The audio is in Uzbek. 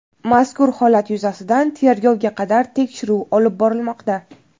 Mazkur holat yuzasidan tergovga qadar tekshiruv olib borilmoqda.